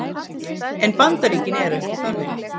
En Bandaríkin eru ekki þannig